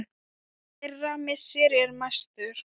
Þeirra missir er mestur.